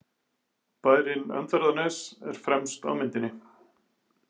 Bærinn Öndverðarnes er fremst á myndinni.